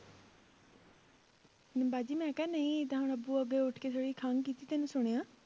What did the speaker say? ਬਾਜੀ ਮੈਂ ਕਿਹਾ ਨਹੀਂ ਤਾਂ ਹੁਣ ਅੱਬੂ ਅੱਗੇ ਉੱਠ ਕੇ ਥੋੜ੍ਹੀ ਖੰਘ ਕੀਤੀ ਤੈਨੂੰ ਸੁਣਿਆ?